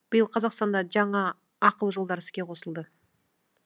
биыл қазақстанда жаңа ақылы жолдар іске қосылды